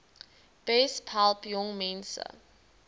besp help jongmense